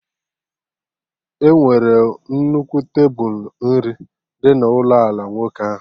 E nwere nnukwu tebulu nri dị na ụlọ ala nwoke ahụ